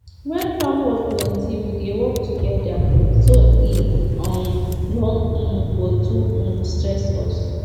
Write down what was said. when farm work plenty we dey work together so e um no um go too um stress us